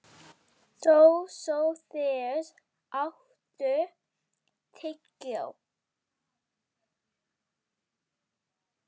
Dósóþeus, áttu tyggjó?